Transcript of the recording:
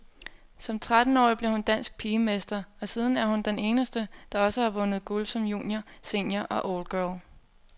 Som trettenårig blev hun dansk pigemester, og siden er hun den eneste, der også har vundet guld som junior, senior og oldgirl.